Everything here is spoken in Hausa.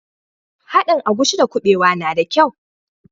Haɗin agushi da kubewa na da kyau.